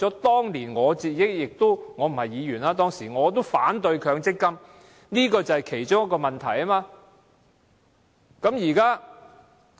當年我不是議員，但我也反對強積金，對沖安排便是其中一個原因。